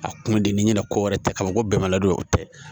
A kun di n'i ɲɛna ko wɛrɛ tɛ ka ban ko bɛnbali o tɛ